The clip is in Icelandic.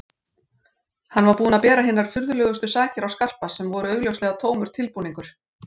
Hann var búinn að bera hinar furðulegustu sakir á Skarpa sem voru augljóslega tómur tilbúningur.